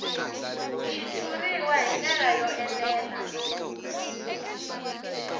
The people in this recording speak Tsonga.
xitshuriwa hi ndlela yo enela